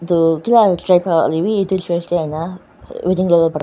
etu kila track la hoilevi etu church laka wedding tu.